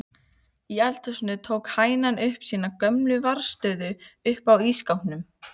Í eldhúsinu tók hænan upp sína gömlu varðstöðu uppá ísskápnum.